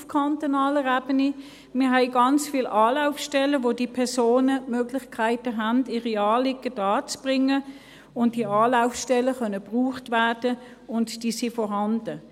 Wir haben ganz viele Anlaufstellen, wo diese Personen die Möglichkeit haben, ihre Anliegen darzubringen, und diese Anlaufstellen können genutzt werden, und sie sind vorhanden.